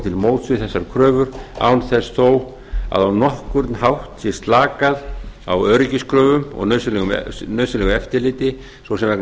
til móts við þessar kröfur án þess þó að á nokkurn hátt sé slakað á öryggiskröfum og nauðsynlegu eftirliti svo sem vegna